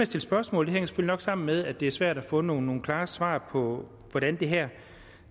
stille spørgsmål hænger det selvfølgelig nok sammen med at det er svært at få nogle klare svar på hvordan det her